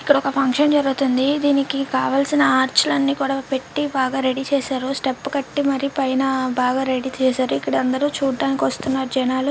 ఇక్కడ ఒక ఫంక్షన్ జరుగుతుంది దీనికి కావల్సినిన ఆర్చ్ లన్నీ కూడా పెట్టి బాగా రెడీ చేసారు స్టెప్పు కట్టి మరీ పైన బాగా రెడీ చేసారు ఇక్కడ అందరూ చూడ్డానికి వస్తున్నారు జనాలు.